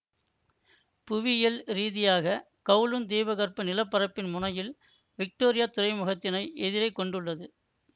புவியியல் ரீதியாக கவுலூன் தீபகற்ப நிலப்பரப்பின் முனையில் விக்டோரியா துறைமுகத்தினை எதிரே கொண்டுள்ளது